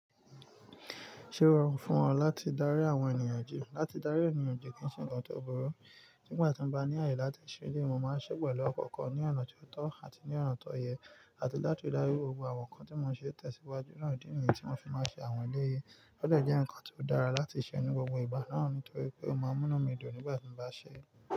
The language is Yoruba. Ṣé ó rọrùn fún ọ láti darí àwọn ènìyàn jí? Láti darí ènìyàn jí kì í ṣe nǹkan tó burú. Nígbà tí mo bá ní ààyè láti ṣe ele yii, mo máa ń ṣé e pẹ̀lú ọkọ̀ kan ní ọ̀nà ti ó tọ́ àti ní ọ̀nà tó yẹ, àti láti dárí gbogbo àwọn nǹkan tí mo n ṣe ntẹ̀síwájú naa. Idí nìyen tí mo fi máa ń ṣe àwọn ele yìí. Ó de jẹ́ ǹkan ti ó dára láti ṣe ní gbogbo ìgbà náà, nítorí pé ó máa ń mú inu mi dùn nígbà tí mo bá ń ṣe é.